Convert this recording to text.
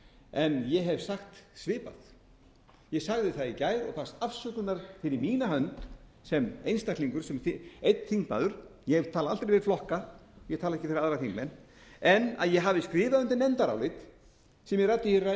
en ég hef sagt svipað ég sagði það í gær og baðst afsökunar fyrir mína hönd sem einstaklingur sem einn þingmaður ég tala aldrei fyrir flokka ég tala ekki fyrir aðra þingmenn en að ég hafi skrifað undir nefndarálit sem ég ræddi í ræðu minni